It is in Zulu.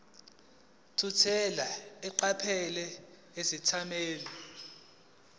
thukela eqaphela izethameli